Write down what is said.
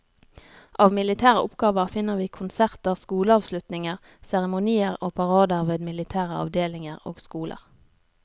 Av militære oppgaver finner vi konserter, skoleavslutninger, seremonier og parader ved militære avdelinger og skoler.